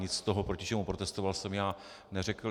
Nic z toho, proti čemu protestoval, jsem já neřekl.